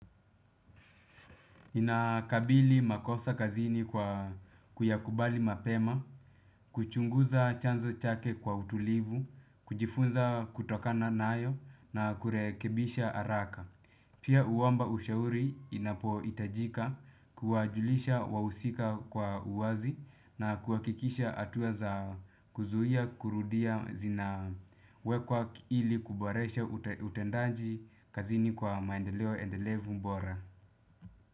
Nakabili makosa kazini kwa kuyakubali mapema, kuchunguza chanzo chake kwa utulivu, kujifunza kutokana nayo na kurekebisha haraka. Pia uwamba ushauri inapo hitajika kuwajulisha wahusika kwa uwazi na kuhakikisha hatua za kuzuia kurudia zina wekwa ili kuboresha utendaji kazini kwa maendeleo endelevu bora.